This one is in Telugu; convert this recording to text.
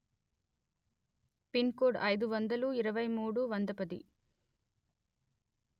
పిన్ కోడ్ అయిదు వందలు ఇరవై మూడు వంద పది